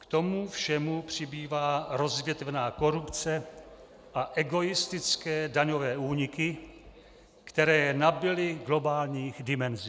K tomu všemu přibývá rozvětvená korupce a egoistické daňové úniky, které nabyly globálních dimenzí.